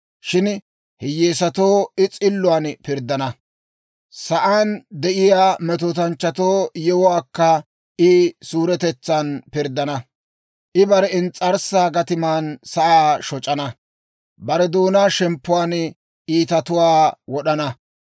Shin hiyyeesatoo I s'illuwaan pirddana; sa'aan de'iyaa metootanchchatu yewuwaakka I suuretetsan pirddana. I bare ins's'arssaa gatiman sa'aa shoc'ana; bare doonaa shemppuwaan iitatuwaa wod'ana.